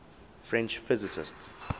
french physicists